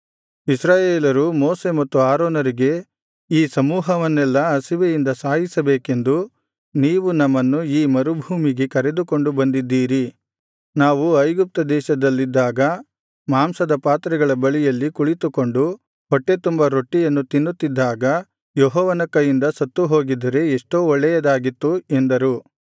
ಇಸ್ರಾಯೇಲರು ಮೋಶೆ ಮತ್ತು ಆರೋನರಿಗೆ ಈ ಸಮೂಹವನ್ನೆಲ್ಲಾ ಹಸಿವೆಯಿಂದ ಸಾಯಿಸಬೇಕೆಂದು ನೀವು ನಮ್ಮನ್ನು ಈ ಮರುಭೂಮಿಗೆ ಕರೆದುಕೊಂಡು ಬಂದಿದ್ದೀರಿ ನಾವು ಐಗುಪ್ತ ದೇಶದಲ್ಲಿದ್ದಾಗ ಮಾಂಸದ ಪಾತ್ರೆಗಳ ಬಳಿಯಲ್ಲಿ ಕುಳಿತುಕೊಂಡು ಹೊಟ್ಟೆತುಂಬಾ ರೊಟ್ಟಿಯನ್ನು ತಿನ್ನುತ್ತಿದ್ದಾಗ ಯೆಹೋವನ ಕೈಯಿಂದ ಸತ್ತು ಹೋಗಿದ್ದರೆ ಎಷ್ಟೋ ಒಳ್ಳೆಯದಾಗಿತ್ತು ಎಂದರು